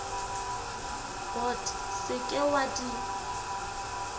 bot se ke wa di